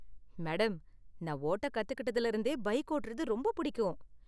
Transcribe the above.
Madam, நான் ஓட்ட கத்துக்கிட்டதில இருந்தே பைக் ஓட்டுறது ரொம்ப புடிக்கும்.